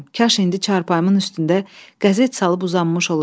Kaş indi çarpayımın üstündə qəzet salıb uzanmış olaydım.